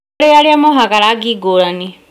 Nĩ kũrĩ arĩa mohaga rangi ngũrani